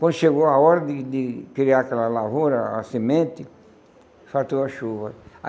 Quando chegou a hora de de criar aquela lavoura, a semente, faltou a chuva.